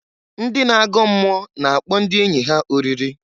Ndị na-agọ mmụọ na-akpọ ndị enyi ha oriri.